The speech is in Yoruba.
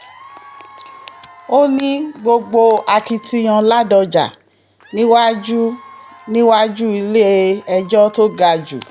ó ní gbogbo akitiyan ládọ́jà níwájú níwájú ilé-ẹjọ́ tó ga jù